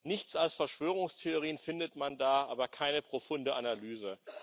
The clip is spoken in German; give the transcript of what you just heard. Nichts als Verschwörungstheorien findet man da, aber keine profunde Analyse.